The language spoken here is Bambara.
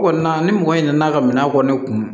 Kɔni na ni mɔgɔ nana ka minɛn kɔni kun